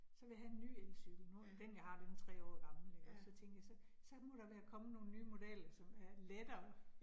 Så vil jeg have en ny elcykel, nu har jeg, den jeg har, den 3 år gammel ikke også, så tænkte jeg, så så må der været kommet nogle nye modeller, som er lettere